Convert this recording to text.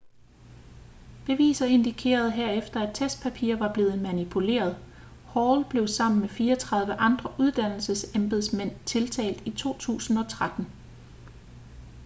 beviser indikerede herefter at testpapirer var blevet manipuleret hall blev sammen med 34 andre uddannelsesembedsmænd tiltalt i 2013